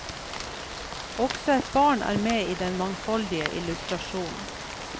Også et barn er med i den mangfoldige illustrasjonen.